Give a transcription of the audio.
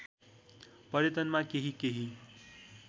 पर्यटनमा केही केही